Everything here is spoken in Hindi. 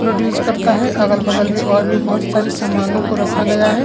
प्रोड्यूस करता है अगल-बगल में और भी बहुत सारे सामानों को रखा गया है।